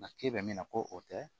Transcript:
Nka ke bɛ min na ko o tɛ